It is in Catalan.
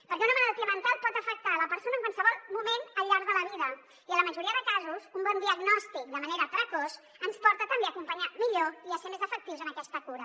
perquè una malaltia mental pot afectar la persona en qualsevol moment al llarg de la vida i en la majoria de casos un bon diagnòstic de manera precoç ens porta també a acompanyar millor i a ser més efectius en aquesta cura